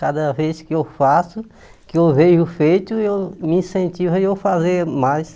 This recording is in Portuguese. Cada vez que eu faço, que eu vejo feito, eu me incentivo a eu fazer mais.